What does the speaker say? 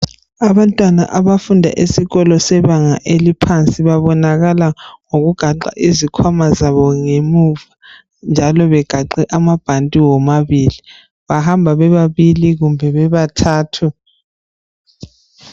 Abantwana abafunda esikolo sebanga eliphansi babonakala ngokugaxa izikhwama zabo emuva njalo bengaxe amabhanti womabili bahamba bebabili kumbe bebathathu